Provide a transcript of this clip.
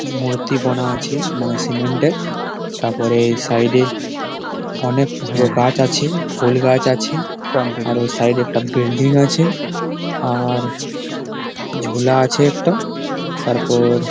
মূর্তি বনা আছে মানে সিমেন্ট -এর তারপরে এ সাইড -এ অনেক গুল গাছ আছে ফোল গাছ আছে আর ও সাইড -এ একটা বেল্ডিং আছে আর ঝুলা আছে একটো তারপর --